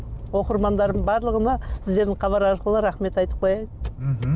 оқырмандарымның барлығына сіздердің хабар арқылы рахмет айтып қояйын мхм